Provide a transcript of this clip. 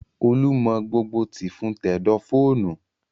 Olú mọ gbogbo tìfun tẹ̀dọ̀ fóònù